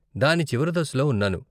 దాని చివరి దశలో ఉన్నాను.